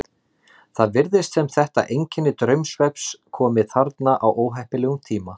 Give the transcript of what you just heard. Það virðist sem þetta einkenni draumsvefns komi þarna á óheppilegum tíma.